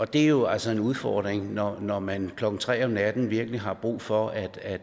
det er jo altså en udfordring når når man klokken nul tre om natten virkelig har brug for at at